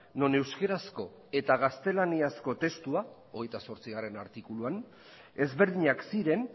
non euskerazko eta gaztelaniazko testua hogeita zortzigarrena artikuluan ezberdinak ziren